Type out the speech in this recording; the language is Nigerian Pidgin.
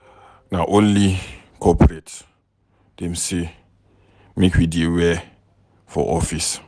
Na only corporate dem sey make we dear wear for office.